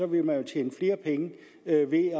vil man jo tjene flere penge ved ved